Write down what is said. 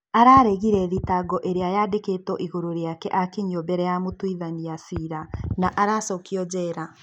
Araregire thitango ĩrĩa yandĩkitwo ĩguru rĩake akinyio mbere ya mũtũithania cira na aracokio njera.